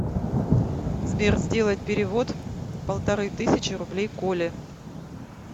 сбер сделать перевод полторы тысячи рублей коле